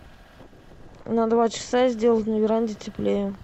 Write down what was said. на два часа сделать на веранде теплее